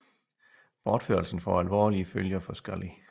Bortførelsen får alvorlige følger for Scully